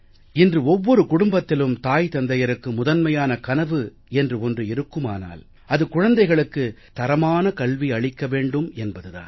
இன்று ஒவ்வொரு குடும்பத்திலும் தாய் தந்தையருக்கு முதன்மையான கனவு என்று ஒன்று இருக்குமானால் அது குழந்தைகளுக்கு தரமான கல்வி அளிக்க வேண்டும் என்பது தான்